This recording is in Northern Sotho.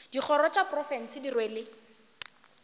dikgoro tša profense di rwele